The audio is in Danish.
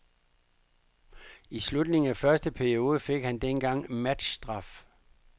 I slutningen af første periode fik han dengang matchstraf.